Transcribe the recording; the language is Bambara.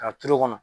K'a turu o kɔnɔ